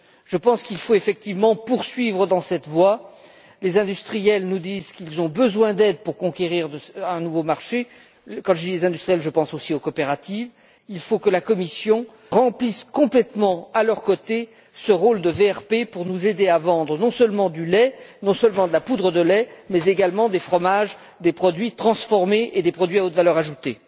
Je pense qu'il faut effectivement poursuivre dans cette voie. Les industriels nous disent qu'ils ont besoin d'aide pour conquérir de nouveaux marchés et quand je parle des industriels, je pense aussi aux coopératives. Il faut que la Commission remplisse complètement, à leurs côtés, ce rôle de VRP, pour les aider à vendre, non seulement du lait et de la poudre de lait, mais également des fromages, des produits transformés et des produits à haute valeur ajoutée.